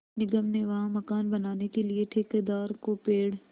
निगम ने वहाँ मकान बनाने के लिए ठेकेदार को पेड़